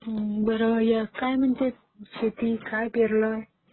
बरं काय म्हणते शेती? काय पेराल?